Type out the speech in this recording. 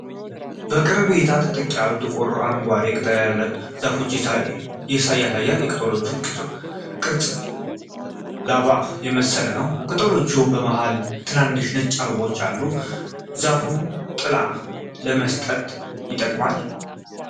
በቅርብ እይታ ጥቅጥቅ ያሉ ጥቁር-አረንጓዴ ቅጠሎች ያሉት ዛፍ ያሳያል። የቅጠሎቹ ቅርጽ ላባ የመሰለ ነው። ከቅጠሎቹ መሃል ትናንሽ ነጭ አበባዎች አሉ። ዛፉ ጥላ ለመስጠት ይጠቅማል?